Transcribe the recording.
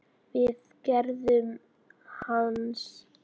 við gerð hans.